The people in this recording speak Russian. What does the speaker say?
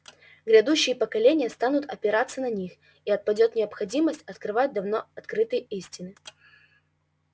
грядущие поколения станут опираться на них и отпадёт необходимость открывать давно открытые истины